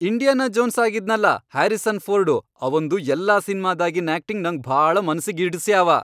Indiana Jones ಆಗಿದ್ನಲಾ Harrison Ford ಅವಂದು ಎಲ್ಲಾ ಸಿನ್ಮಾದಾಗಿನ್ ಆಕ್ಟಿಂಗ್ ನಂಗ್ ಭಾಳ ಮನಸ್ಸಿಗಿ ಹಿಡಸ್ಯಾವ.